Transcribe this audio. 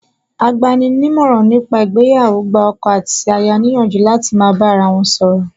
Agbani ní ìmọ̀ràn ní pa ìgbéyàwó gba ọkọ àti aya ní ìyànjú láti máa bá ara wọn sọ̀rọ̀